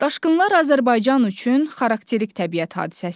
Daşqınlar Azərbaycan üçün xarakterik təbiət hadisəsidir.